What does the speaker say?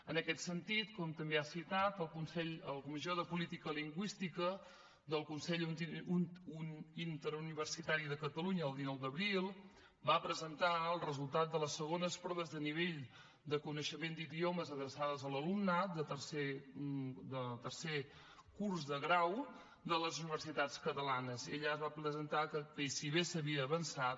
en aquest sentit com també ha citat la comissió de política lingüística del consell interuniversitari de catalunya el dinou d’abril va presentar el resultat de les segones proves de nivell de coneixement d’idiomes adreçades a l’alumnat de tercer curs de grau de les universitats catalanes i allà es va presentar que si bé s’havia avançat